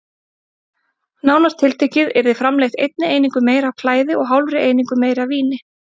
Nánar tiltekið yrði framleitt einni einingu meira af klæði og hálfri einingu meira af víni.